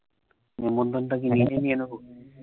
নিমন্ত্রণ টা কি নিজেই নিয়ে নেব?